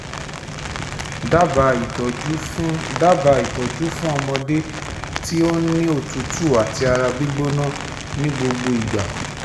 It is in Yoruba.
Daba itọju fun Daba itọju fun ọmọde ti o n ni otutu ati ara gbigbona ni gbogbo igba